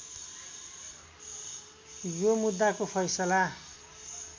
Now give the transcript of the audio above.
यो मुद्दाको फैसला